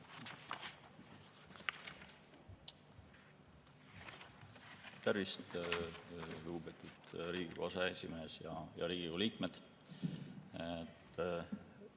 Tervist, lugupeetud Riigikogu aseesimees ja head Riigikogu liikmed!